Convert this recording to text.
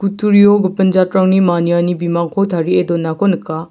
turio gipin jatrangni maniani bimangko tarie donako nika.